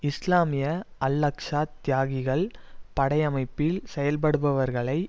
இஸ்லாமிய Al Aqsa தியாகிகள் படை அமைப்பில் செயல்படுபவர்களை